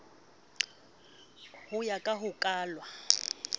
ho ya ka ho kalwa